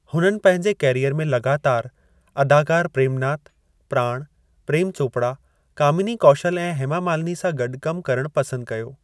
हुननि पंहिंजे करियर में लॻातारि अदाकार प्रेम नाथ, प्राण, प्रेम चोपड़ा, कामिनी कौशल ऐं हेमा मालिनी सां गॾु कम करणु पसंदु कयो।